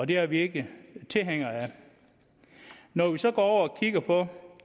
det er vi ikke tilhængere af når vi så går over og kigger på